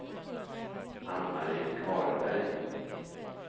Ann-Marie Karlberg